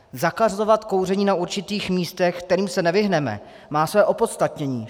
Zakazovat kouření na určitých místech, kterým se nevyhneme, má své opodstatnění.